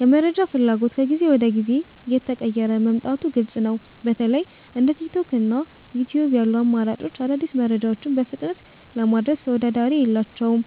የመረጃ ፍላጎት ከጊዜ ወደ ጊዜ እየተቀየረ መምጣቱ ግልጽ ነው። በተለይ እንደ ቲክቶክ እና ዩትዩብ ያሉ አማራጮች አዳዲስ መረጃዎችን በፍጥነት ለማድረስ ተወዳዳሪ የላቸውም።